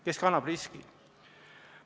Kes kannab riski?